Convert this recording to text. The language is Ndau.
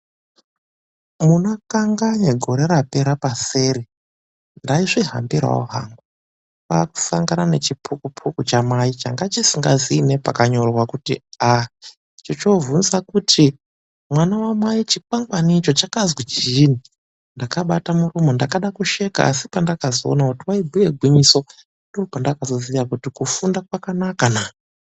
Munakanganya gore rapera paseri..Ndaizvihambirawo hangu, kwakusangana nechipukupuku chamai changa chisingazii nepakanyorwa kuti a chichiovhunza kuti, "Mwana wamai chikwangwani icho chakazwi chiini". Ndakabata muromo. Ndakada kusheka asi pandakazoona kuti waibhuye gwinyiso, ndipo pandakazoziva kuti kufunda kwakanakana.